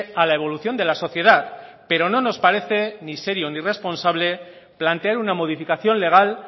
a la evolución de la sociedad pero no nos parece ni serio ni responsable plantear una modificación legal